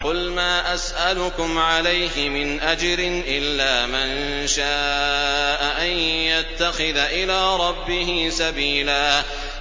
قُلْ مَا أَسْأَلُكُمْ عَلَيْهِ مِنْ أَجْرٍ إِلَّا مَن شَاءَ أَن يَتَّخِذَ إِلَىٰ رَبِّهِ سَبِيلًا